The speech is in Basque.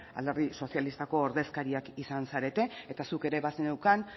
alderdi sozialistako ordezkariak izan zarete eta zuk ere bazeneuzkan